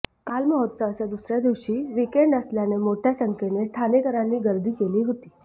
काल महोत्सवाच्या दुसऱ्या दिवशी विकेंड असल्यानं मोठ्या संख्येनं ठाणेकरांनी गर्दी केली होती